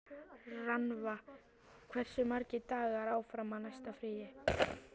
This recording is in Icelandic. Rannva, hversu margir dagar fram að næsta fríi?